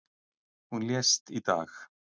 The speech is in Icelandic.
Hún lést í dag.